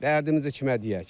Dərdimizi kimə deyək?